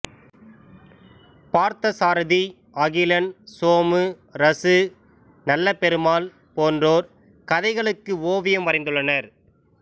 Parthasarathy Akilan Somu Ra Su Nallaperumal போன்றோர் கதைகளுக்கு ஓவியம் வரைந்துள்ளார்